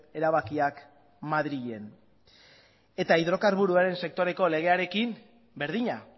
erabakiak madrilen eta hidrokarburoaren sektoreko legearekin berdina